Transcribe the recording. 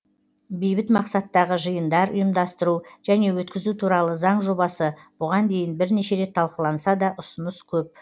бейбіт мақсаттағы жиындар ұйымдастыру және өткізу туралы заң жобасы бұған дейін бірнеше рет талқыланса да ұсыныс көп